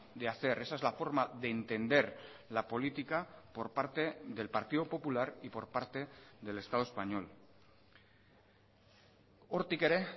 de hacer esa es la forma de entender la política por parte del partido popular y por parte del estado español hortik ere